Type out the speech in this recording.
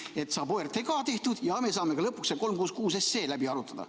–, nii et saab OTRK ka tehtud ja me saame lõpuks selle 366 SE läbi arutada.